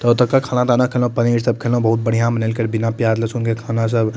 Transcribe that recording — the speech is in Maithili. ते ओतोका खाना ताना खएलो पनीर सब खएलो बहुत बढ़िया बनेएल के बिना प्याज लहसुन के खाना सब --